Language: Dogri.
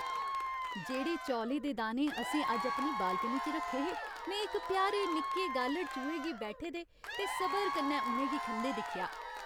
जेह्ड़े चौलें दे दाने असें अज्ज अपनी बालकनी च रक्खे हे, में इक प्यारे निक्के गालढ़ चूहे गी बैठे दे ते सबर कन्नै उ'नें गी खंदे दिक्खेआ।